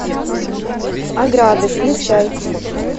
ограды включай